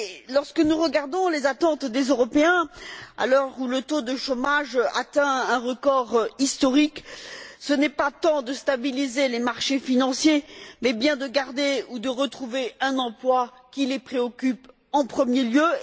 Lorsque nous regardons les attentes des Européens, à l'heure où le taux de chômage atteint un record historique, ce n'est pas tant de stabiliser les marchés financiers mais bien de garder ou de retrouver un emploi qui les préoccupe en premier lieu.